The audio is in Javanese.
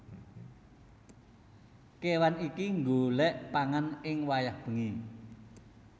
Kéwan iki nggolèk pangan ing wayah bengi